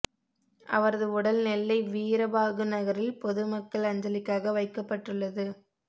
அவரது உடல் நெல்லை வீரபாகுநகரில் பொதுமக் கள் அஞ்சலிக்காக வைக்கப்பட்டுள்ளது